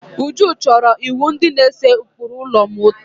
Uju chọrọ iwu ndi na-ese ụkpụrụ ụlọ ma otoo